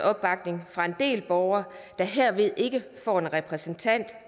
opbakning fra en del borgere herved ikke får en repræsentant